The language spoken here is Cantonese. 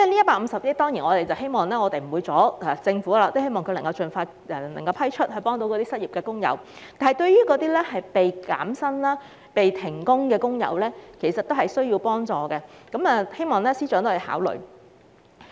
我們當然無意阻礙政府，希望這150億元撥款可以盡快批出，以幫助失業的工友，但一些被減薪或停工的工友也很需要幫助，希望司長會考慮。